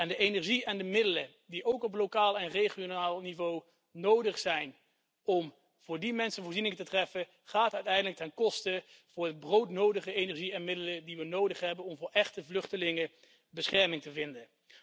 De energie en de middelen die op lokaal en regionaal niveau nodig zijn om voor die mensen voorzieningen te treffen, gaan uiteindelijk ten koste van de broodnodige energie en middelen die we nodig hebben om voor echte vluchtelingen bescherming te vinden.